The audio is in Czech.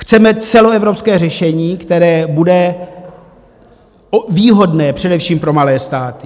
Chceme celoevropské řešení, které bude výhodné především pro malé státy.